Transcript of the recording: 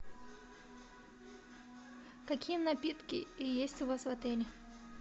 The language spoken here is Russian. какие напитки есть у вас в отеле